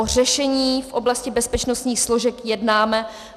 O řešení v oblasti bezpečnostních složek jednáme.